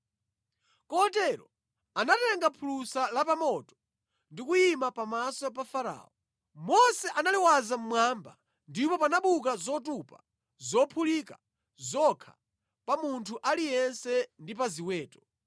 Kotero anatenga phulusa la pa moto ndi kuyima pamaso pa Farao. Mose analiwaza mmwamba, ndipo panabuka zotupa zophulika zokha pa munthu aliyense ndi pa ziweto.